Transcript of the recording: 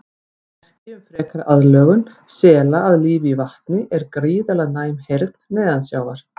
Merki um frekari aðlögun sela að lífi í vatni er gríðarlega næm heyrn neðansjávar.